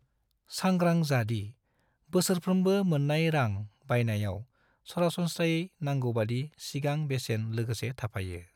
सांग्रां जा दि बोसोरफ्रोमबो मोननाय रां बायनायाव सरासनस्रायै नांगौबादि सिगां बेसेन लोगोसे थाफायो।